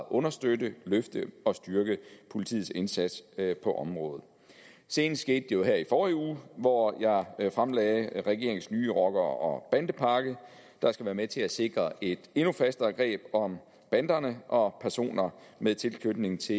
understøtte løfte og styrke politiets indsats på området senest skete det jo her i forrige uge hvor jeg fremlagde regeringens nye rocker og bandepakke der skal være med til at sikre et endnu fastere greb om banderne og personer med tilknytning til